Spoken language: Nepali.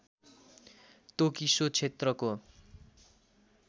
तोकी सो क्षेत्रको